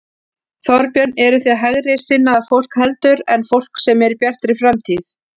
Þorbjörn: Eruð þið hægri sinnaðra fólk heldur en fólk sem er í Bjartri framtíð?